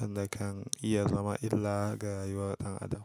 wanda kan iya zama illa ga rayuwar ɗan adam.